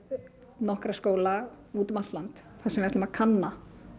nokkrum skólum út um allt land þar sem við ætlum að kanna